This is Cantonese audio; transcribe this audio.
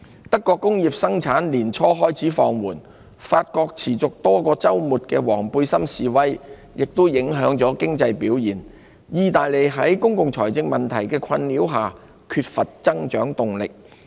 德國工業生產年初開始放緩；法國持續多個周末的"黃背心"示威亦影響了經濟表現；意大利則受公共財政問題困擾，缺乏增長動力。